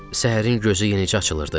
Səhərin gözü yenicə açılırdı.